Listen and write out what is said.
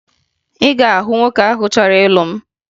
Ị ga-ahụ nwoke ahụ chọrọ ịlụ m